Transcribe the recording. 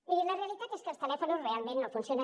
miri la realitat és que els telèfons realment no funcionen